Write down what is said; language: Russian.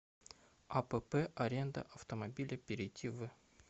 апп аренда автомобиля перейди в